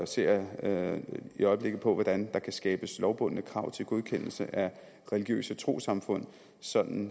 ser jeg i øjeblikket på hvordan der kan skabes lovbundne krav til godkendelse af religiøse trossamfund sådan